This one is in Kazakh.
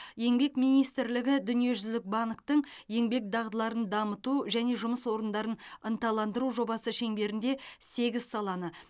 еңбек министрлігі дүниежүзілік банктің еңбек дағдыларын дамыту және жұмыс орындарын ынталандыру жобасы шеңберінде сегіз саланы